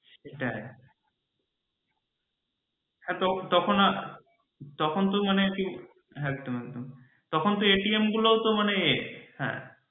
সেটাই হ্যাঁ তখন আর তখন তো মানে তখন তো গূলৌ তো মানে এ